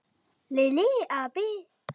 Lilli api!